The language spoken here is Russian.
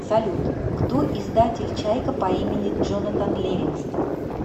салют кто издатель чайка по имени джонатан ливингстон